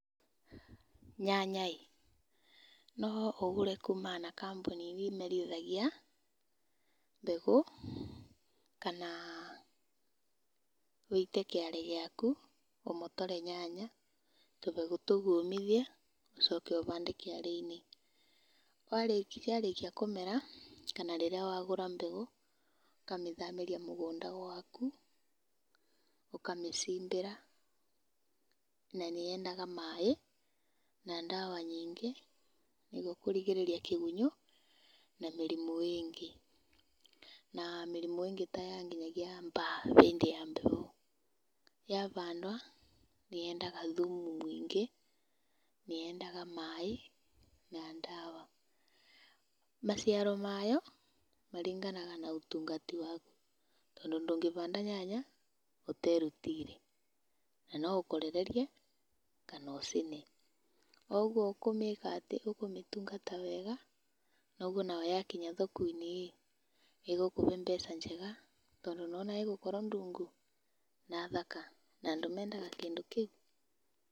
Nyanya ĩ, no ũgũre kumana na kambuni irĩa imerithagia mbegũ, kana ũite kĩarĩ gĩaku, ũmotore nyanya, tũmbegũ tũu ũmithie ũcoke ũhande kĩarĩinĩ, warĩkia kũmera kana rĩrĩa wagũra mbegũ, ũkamĩthamĩria mĩgũnda gũaku, ũkamĩcimbĩra na nĩ yendaga maĩ na ndawa nyingĩ nĩguo kũrigĩrĩria kĩgunyũ na mĩrimũ ingĩ, na mĩrimũ ingĩ ta ya nginyagia baa hĩndĩ ya heho. Yahandwo nĩ yendaga thumu mũingĩ, nĩ yendaga maĩ na ndawa, maciaro mayo maringanaga na ũtungata waku, tondũ ndũngĩhanda nyanya ũterutĩire na noũkorererie kana ũcine. O ũguo ũkũmĩtungata wega, noguo nawe wakinya thokoinĩ ĩ nĩgũkũhe mbeca njega tondũ nĩ wona ĩgũkorwo ndungu, na thaka na andũ mendaga kĩndũ kĩũ.